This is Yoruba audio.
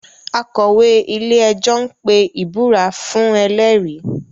Akọ̀wé-ilé-ẹjọ́ ń pe ìbúra fuhn ẹlẹ́rìí